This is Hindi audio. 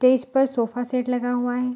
तो इस पर सोफ़ा सेट लगा हुआ है।